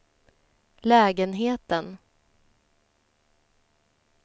lägenheten